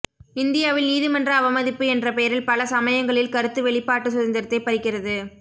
இந்தியாவில் நீதிமன்ற அவமதிப்பு என்ற பெயரில் பல சமயங்களில் கருத்து வெளிப்பாட்டுச் சுதந்திரத்தை பறிக்கிறது